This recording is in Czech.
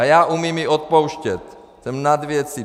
A já umím i odpouštět, jsem nad věcí.